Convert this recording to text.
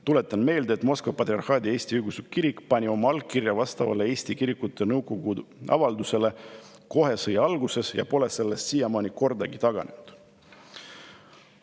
Tuletan meelde, et Moskva Patriarhaadi Eesti Õigeusu Kirik pani oma allkirja vastavale Eesti Kirikute Nõukogu avaldusele kohe sõja alguses ja pole sellest siiamaani kordagi taganenud.